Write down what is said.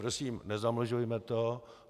Prosím, nezamlžujme to.